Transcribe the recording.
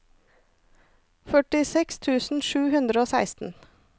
førtiseks tusen sju hundre og seksten